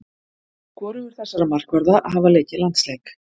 Hvorugur þessara markvarða hafa leikið landsleik.